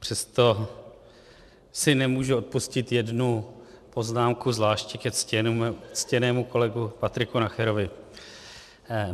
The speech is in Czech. Přesto si nemůžu odpustit jednu poznámku, zvláště ke ctěnému kolegovi Patriku Nacherovi.